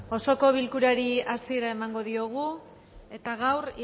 osoko bilkurari hasiera emango diogu eta gaur